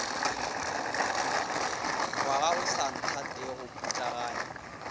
ngwaga o sa nthatego putlaganya